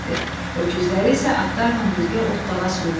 Öküzləri isə atlarla birgə otdağa sürdülər.